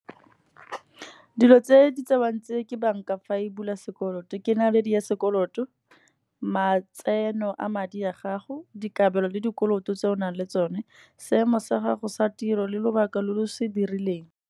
Dilo tse di tsewang tse ke bank-a fa e bula sekoloto, ke naledi ya sekoloto, matseno a madi a gago, dikabelo le dikoloto tse o nang le tsone, seemo sa gago sa tiro le lobaka lo lo se dirileng.